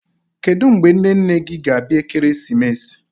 Kedụ mgbe nne nne gị ga-abịa Ekeresimesi?